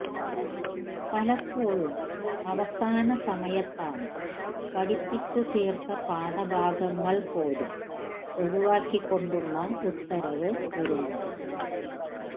പലപ്പോഴഴും അവസാന സമയത്താണ് പഠിപ്പിച്ചുതീര്ത്ത പാഠഭാഗങ്ങള് പോലും ഒഴിവാക്കിക്കൊണ്ടുള്ള ഉത്തരവ് വരുന്നത്